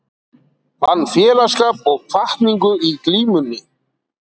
Fann félagsskap og hvatningu í glímunni